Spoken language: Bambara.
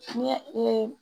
Ne ye